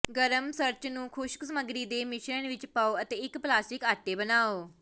ਗਰਮ ਸਰਚ ਨੂੰ ਖੁਸ਼ਕ ਸਮੱਗਰੀ ਦੇ ਮਿਸ਼ਰਣ ਵਿੱਚ ਪਾਉ ਅਤੇ ਇੱਕ ਪਲਾਸਟਿਕ ਆਟੇ ਬਣਾਉ